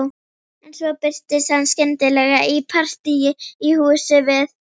En svo birtist hann skyndilega í partíi í húsi við